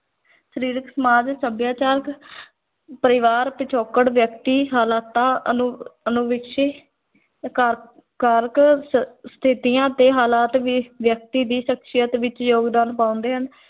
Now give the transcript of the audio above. ਸਰੀਰਕ, ਸਮਾਜ, ਸੱਭਿਆਚਾਰਕ ਪਰਿਵਾਰ ਪਿਛੋਕੜ, ਵਿਅਕਤੀ ਹਾਲਾਤਾਂ, ਅਨੁ ਕਾਰ ਕਾਰਕ, ਸ ਸਥਿਤੀਆਂ ਤੇ ਹਾਲਾਤ ਵੀ ਵਿਅਕਤੀ ਦੀ ਸ਼ਖ਼ਸੀਅਤ ਵਿੱਚ ਯੋਗਦਾਨ ਪਾਉਂਦੇ ਹਨ।